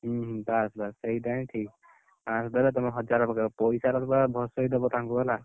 ହୁଁ ହୁଁ, ବାସ୍ ବାସ୍ ସେଇଟା ହିଁ ଠିକ୍। ପାଂଶ ଦେଲେ ତମେ ହଜାର ପକେଇବ ପଇସାରେ ତ ପୁରା ଭସେଇଦବ ତାଙ୍କୁ ହେଲା।